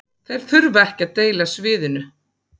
Þeir þurfa ekki að deila sviðinu